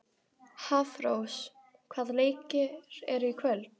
Hafrós, hvaða leikir eru í kvöld?